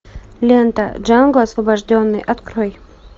лента джанго освобожденный открой